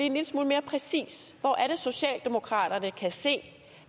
en lille smule mere præcis hvor er det socialdemokraterne kan se